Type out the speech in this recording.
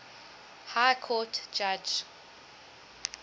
high court judge